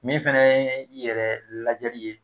Min fana ye yɛrɛ lajɛli ye